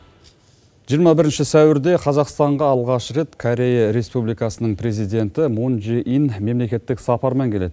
жиырма бірінші сәуірде қазақстанға алғаш рет корея республикасының президенті мун джи ин мемлекеттік сапармен келеді